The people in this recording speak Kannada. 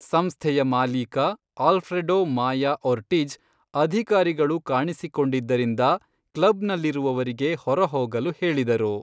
ಸಂಸ್ಥೆಯ ಮಾಲೀಕ, ಆಲ್ಫ್ರೆಡೋ ಮಾಯಾ ಒರ್ಟಿಜ್, ಅಧಿಕಾರಿಗಳು ಕಾಣಿಸಿಕೊಂಡಿದ್ದರಿಂದ ಕ್ಲಬ್ನಲ್ಲಿರುವವರಿಗೆ ಹೊರಹೋಗಲು ಹೇಳಿದರು.